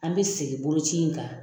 An bɛ segin boloci in kan.